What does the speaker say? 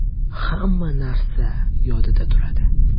Hamma narsa yodida turadi.